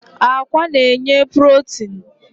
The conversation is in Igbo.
Akwa na-enye protin